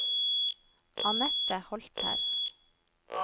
Anette Holter